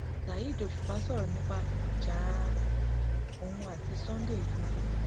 saheed òṣùpá sọrọ nípa ìjà òun àti sunday igbodò